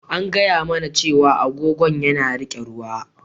An faɗa mana cewa agogon yana riƙe ruwa.